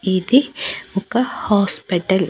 ఇది ఒక హాస్పిటల్ .